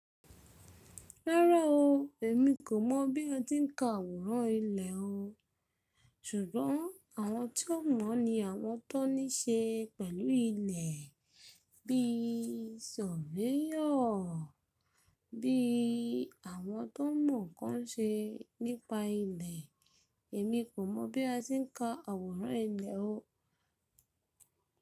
Rárá o, èmi kò mọ̀ bí a ti ń ka àwòrán ilẹ̀ oo, ṣùgbọ́n àwọn tí wọ́n mọ̀ ni àwọn tó níṣe pẹ̀lú ilẹ̀, bí i surveyor, bí i àwọn tó mọ̀ ń ṣe nípa ilẹ̀. Èmi kò mọ̀ bí a ti ń ka àwòrán ilẹ̀ oo.